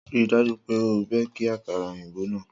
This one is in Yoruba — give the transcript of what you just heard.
Rii daju pe o beki akara oyinbo naa!